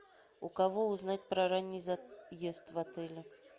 у кого узнать про ранний заезд в отеле